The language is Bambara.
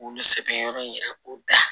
K'olu sɛbɛn yɔrɔ in yɛrɛ ko da